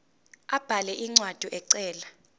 abhale incwadi ecela